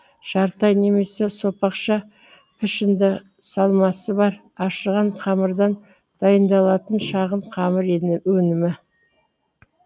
жарты ай немесе сопақша пішіңді салмасы бар ашыған қамырдан дайындалатын шағын қамыр өнімі